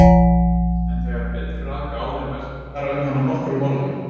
En þegar betur er að gáð er vert að fara um hana nokkrum orðum.